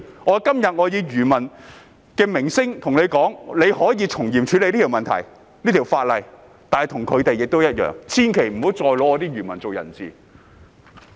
我今天以漁民的聲音對政府說，政府可以從嚴處理這項法例的問題，但千萬不要再以漁民作人質。